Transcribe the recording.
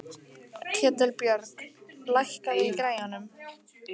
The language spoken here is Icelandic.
Ketilbjörg, lækkaðu í græjunum.